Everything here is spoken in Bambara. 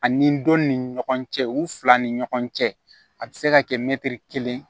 Ani dɔ ni ɲɔgɔn cɛ u fila ni ɲɔgɔn cɛ a bɛ se ka kɛ mɛtiri kelen